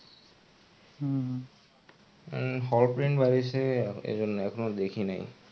উম horror film বার হইসে এইজন্য এখনো দেখি নাই.